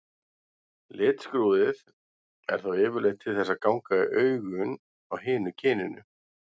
Litskrúðið er þá yfirleitt til þess að ganga í augun á hinu kyninu.